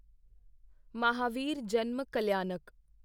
Mahavir Janma Kalyanak